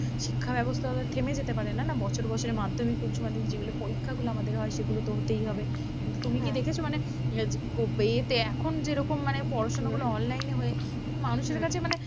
শিক্ষা ব্যবস্থা তো থেমে যেতে পারে না না, বছরে বছরে মাধ্যমিক উচ্চমাধ্যমিক যেগুলো পরীক্ষাগুলো আমাদের হয় সেগুলো তো হতেই হবে, কিন্তু তুমি কি দেখেছো মানে আহ এ তে এখন যেরকম মানে পড়াশোনাগুলো online এ হয়ে মানুষের কাছে মানে